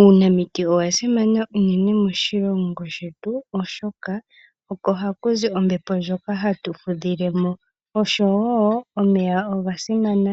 Uunamiti owa simana unene moshilongo shetu oshoka oko hakuzi ombepo ndjoka hatu fudhilemo ,osho wo omeya oga simana